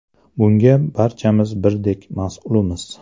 Bunga barchamiz birdek mas’ulmiz.